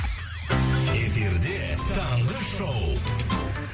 эфирде таңғы шоу